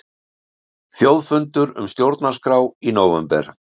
Þjóðfundur um stjórnarskrá í nóvember